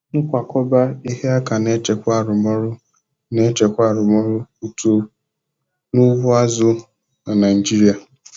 Nkwakọba ihe aka na-echekwa arụmọrụ na-echekwa arụmọrụ uto n'ugbo azụ na Naijiria.